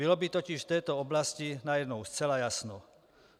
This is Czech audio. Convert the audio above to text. Bylo by totiž v této oblasti najednou zcela jasno.